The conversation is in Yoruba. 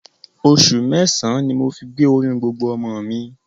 Oṣù mẹ́sàn-án ni mo fi gbé oyún gbogbo ọmọ mi